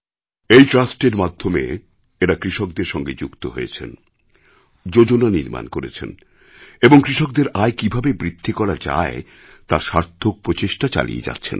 এই ট্রাস্টের মাধ্যমে এঁরা কৃষকদের সঙ্গে যুক্ত হয়েছেন যোজনা নির্মাণ করেছেন এবং কৃষকদের আয় কীভাবে বৃদ্ধি করা যায় তার সার্থক প্রচেষ্টা চালিয়ে যাচ্ছেন